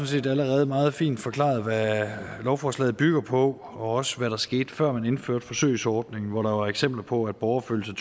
set allerede meget fint forklaret hvad lovforslaget bygger på og også hvad der skete før man indførte forsøgsordningen hvor der var eksempler på at borgere følte